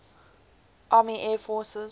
army air forces